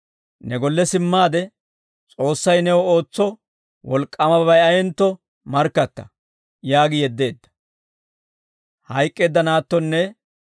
«Ne golle simmaade S'oossay new ootso wolk'k'aamabay ayentto markkatta» yaagi yeddeedda.